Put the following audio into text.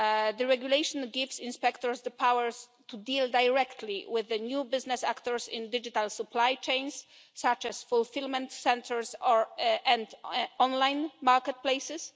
The regulation gives inspectors the power to deal directly with the new business actors in digital supply chains, such as fulfilment centres and online market places.